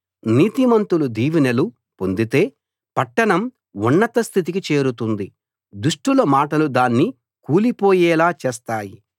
నీతిమంతులు దీవెనలు పొందితే పట్టణం ఉన్నత స్థితికి చేరుతుంది దుష్టుల మాటలు దాన్ని కూలిపోయేలా చేస్తాయి